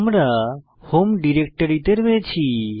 আমরা হোম ডিরেক্টরিতে রয়েছি